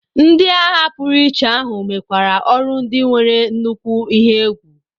Ndị agha pụrụiche ahụ mekwara ọrụ ndị nwere nnukwu ihe egwu.